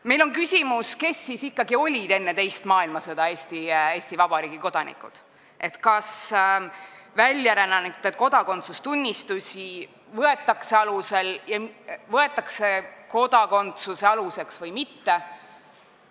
Meil on küsimus, kes siis ikkagi olid enne teist maailmasõda Eesti Vabariigi kodanikud, kas väljarännanute kodakondsustunnistusi võetakse kodakondsuse alusena või mitte.